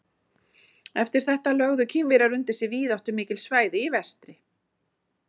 Eftir þetta lögðu Kínverjar undir sig víðáttumikil svæði í vestri.